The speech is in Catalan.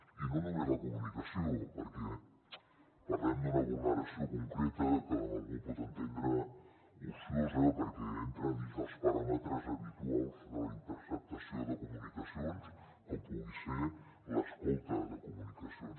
i no només la comunicació perquè parlem d’una vulneració concreta que algú pot entendre ociosa perquè entra dins dels paràmetres habituals de la intercepció de comunicacions com pugui ser l’escolta de comunicacions